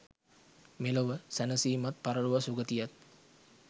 මෙලොව සැනසීමත් පරලොව සුගතියක්